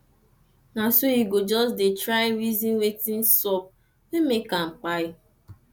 na so yu go jus dey dey try reason wetin sup wey make am kpai